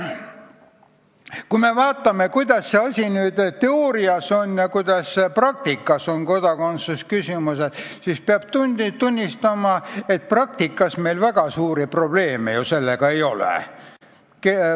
Kui me vaatame, kuidas see kõik teoorias on ja kuidas praktikas, siis peab tunnistama, et praktikas meil väga suuri probleeme ju kodakondsusküsimustega ei ole.